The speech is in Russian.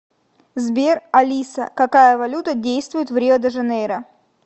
сбер алиса какая валюта действует в рио де жанейро